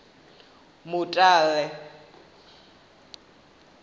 mutale